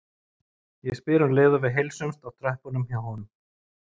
spyr ég um leið og við heilsumst á tröppunum hjá honum.